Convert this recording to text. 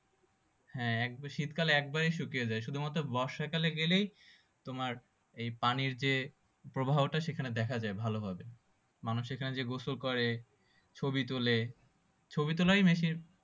হ্যাঁ একবারে শীতকালে একবারে শুকিয়ে যাই শুধুমাত্র বর্ষা কালে গেলেই তোমার এই পানির যে প্রবাহটা সেখানে দেখা যায় ভালো ভাবে মানুষ এইখানে যে গোসল করে ছবি তোলে ছবি তোলাই বেশির